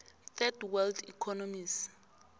third world economies